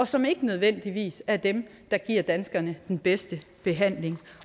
som ikke nødvendigvis er dem der giver danskerne den bedste behandling